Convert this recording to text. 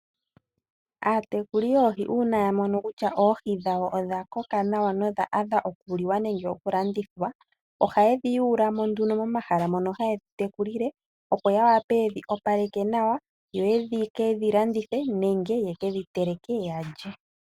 Aatekuli yoohi uuna yamono kutya oohi dhawo odhakoka nawa nenge odha adha okuliwa nenge okulandithwa ohayedhi yuulamo nduno momahala mono hayedhitekulile opo yawape yedhi opaleke nawa yoyekedhilandithe nenge yalye.